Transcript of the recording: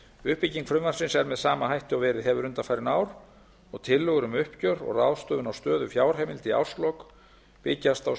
uppbygging frumvarpsins er með sama hætti og verið hefur undanfarin ár og tillögur um uppgjör og ráðstöfun á stöðu fjárheimilda í árslok byggjast á